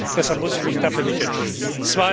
Deshalb muss ich mich dafür nicht entschuldigen.